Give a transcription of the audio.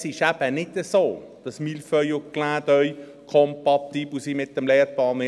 Es ist eben nicht so, dass «Mille feuilles» und «Clin d’œil» mit dem Lehrplan 21 kompatibel sind.